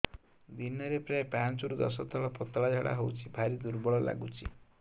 ଦିନରେ ପ୍ରାୟ ପାଞ୍ଚରୁ ଦଶ ଥର ପତଳା ଝାଡା ହଉଚି ଭାରି ଦୁର୍ବଳ ଲାଗୁଚି